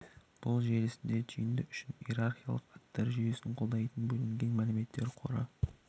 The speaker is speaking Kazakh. бұл желісінде түйінді үшін иерархиялық аттар жүйесін қолдайтын бөлінген мәлімет қоры